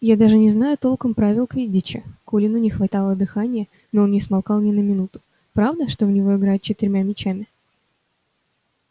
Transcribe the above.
я даже не знаю толком правил квиддича колину не хватало дыхания но он не смолкал ни на минуту правда что в него играют четырьмя мячами